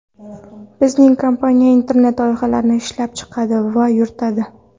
Bizning kompaniya internet-loyihalarni ishlab chiqadi va yuritadi.